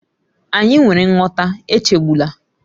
Anyị nwere nghọta, echegbula